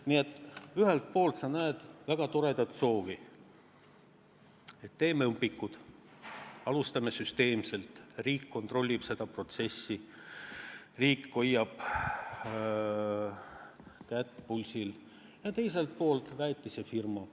Nii et ühelt poolt me nägime väga toredat soovi, et teeme õpikud, alustame süsteemselt, riik kontrollib seda protsessi, riik hoiab kätt pulsil, aga teiselt poolt valisime väetisefirma.